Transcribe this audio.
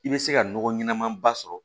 I bɛ se ka nɔgɔ ɲɛnama ba sɔrɔ